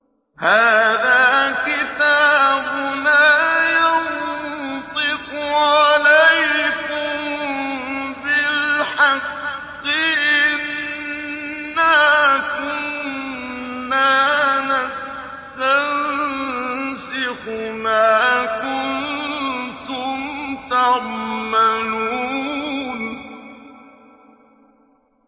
هَٰذَا كِتَابُنَا يَنطِقُ عَلَيْكُم بِالْحَقِّ ۚ إِنَّا كُنَّا نَسْتَنسِخُ مَا كُنتُمْ تَعْمَلُونَ